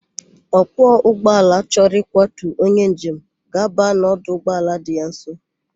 Ọkwọ ụgbọala chọrọ ịkwọtu onye njem ga-aba n' ọdụ ụgbọala dị ya nso.